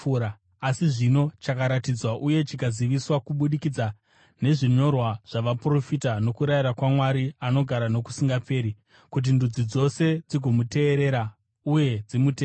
asi zvino chakaratidzwa uye chikaziviswa kubudikidza nezvinyorwa zvavaprofita nokurayira kwaMwari anogara nokusingaperi, kuti ndudzi dzose dzigomuteerera uye dzimutende,